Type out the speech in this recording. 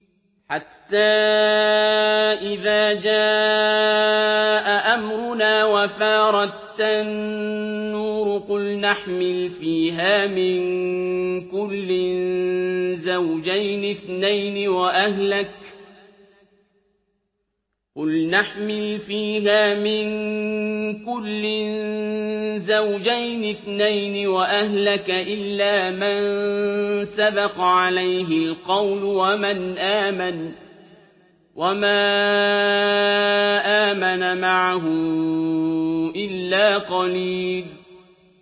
حَتَّىٰ إِذَا جَاءَ أَمْرُنَا وَفَارَ التَّنُّورُ قُلْنَا احْمِلْ فِيهَا مِن كُلٍّ زَوْجَيْنِ اثْنَيْنِ وَأَهْلَكَ إِلَّا مَن سَبَقَ عَلَيْهِ الْقَوْلُ وَمَنْ آمَنَ ۚ وَمَا آمَنَ مَعَهُ إِلَّا قَلِيلٌ